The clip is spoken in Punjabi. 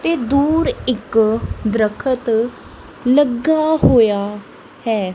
ਤੇ ਦੂਰ ਇੱਕ ਦਰਖਤ ਲੱਗਾ ਹੋਇਆ ਹੈ।